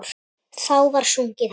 Þá var sungið hátt.